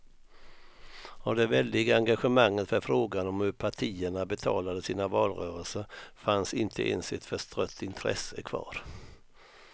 Av det väldiga engagemanget för frågan om hur partierna betalade sina valrörelser fanns inte ens ett förstrött intresse kvar.